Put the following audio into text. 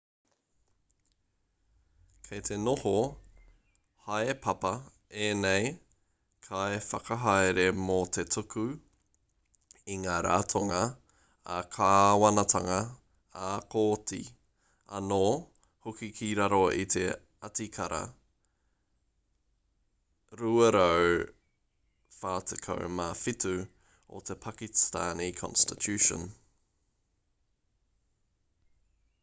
kei te noho haepapa ēnei kaiwhakahaere mō te tuku i ngā ratonga ā-kāwanatanga ā-kōti anō hoki ki raro i te atikara 247 o te pakistani constitution